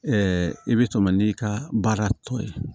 i bɛ tɛmɛ n'i ka baara tɔ ye